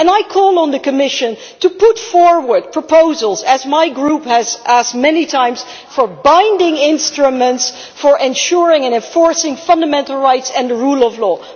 I call on the Commission to put forward proposals as my group has asked many times for binding instruments for ensuring and enforcing fundamental rights and the rule of law.